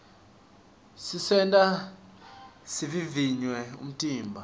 tisenta sivivivye umtimba